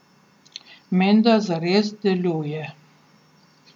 Menda zares deluje.